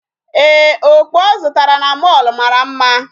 Ee, okpu ọ zụtara na mall mara mma.